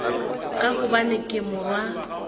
ka gobane ke le morwa